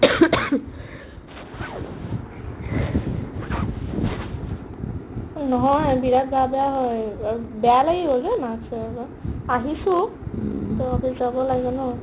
এই নহয় haa বিৰাট গা বেয়া হয় like বেয়া লাগি গ'ল যা মাক চাই যে আহিছো tooffice যাব লাগে ন